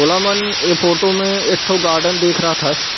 ओलमान इ फोटो में एक ठो गार्डन दिख रह थस।